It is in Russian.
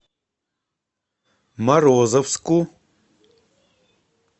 морозовску